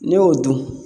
N'i y'o dun